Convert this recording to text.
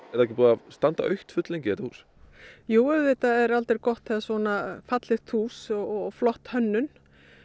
það ekki búið að standa autt fulllengi þetta hús jú auðvitað er aldrei gott þegar svona fallegt hús og flott hönnun